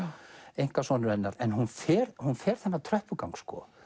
einkasonur hennar en hún fer hún fer þennan tröppugang